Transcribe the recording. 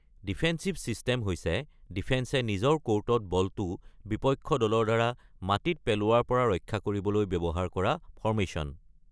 Defensive system হৈছে ডিফেন্সে নিজৰ ক’ৰ্টত বলটো বিপক্ষ দলৰ দ্বাৰা মাটিত পেলোৱাৰ পৰা ৰক্ষা কৰিবলৈ ব্যৱহাৰ কৰা ফৰ্মেশ্যন।